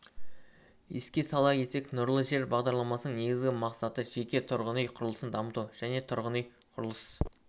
еске сала кетсек нұрлы жер бағдарламасының негізгі мақсаты жеке тұрғын үй құрылысын дамыту тұрғын үй құрылыс